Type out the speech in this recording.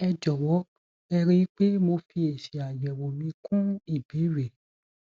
ẹ jọwọ ẹ rí i pé mo fi èsì àyẹwò mi kún ìbéèrè